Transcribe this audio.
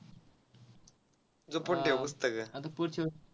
जपून ठेव पुस्तक